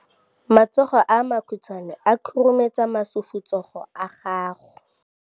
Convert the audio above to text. matsogo a makhutshwane a khurumetsa masufutsogo a gago